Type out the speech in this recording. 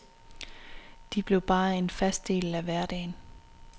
De blev bare en fast del af hverdagen.